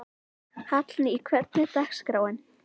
Hallný, hvernig er dagskráin?